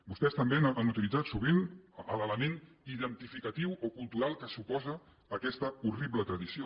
vostès també han utilitzat sovint l’element identificatiu o cultural que suposa aquesta horrible tradició